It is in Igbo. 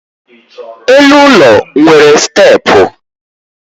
elu ụlọ nwere steepụ